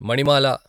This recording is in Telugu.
మణిమాల